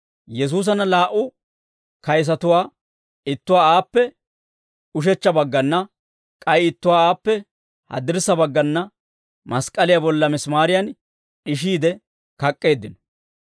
Yesuusanna laa"u kayisatuwaa ittuwaa aappe ushechcha baggana, k'ay ittuwaa aappe haddirssa baggana mask'k'aliyaa bolla misimaariyan d'ishiide kak'k'eeddino.